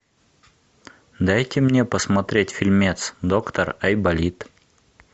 дайте мне посмотреть фильмец доктор айболит